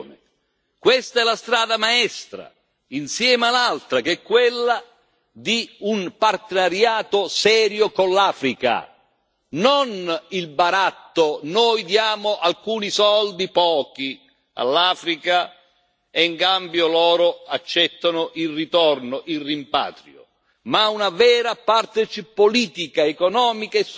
Questa è la strada maestra, insieme all'altra che quella di un partenariato serio con l'Africa, non il baratto noi diamo alcuni soldi, pochi, all'Africa e in cambio loro accettano il ritorno, il rimpatrio ma una vera partnership politica, economica e sociale